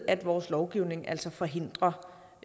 at vores lovgivning altså forhindrer